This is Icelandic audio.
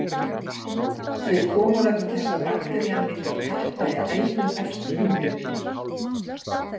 Þau koma vegna þess að bakterían myndar tappa í æðum efst í húðinni.